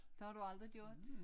Det har du aldrig gjort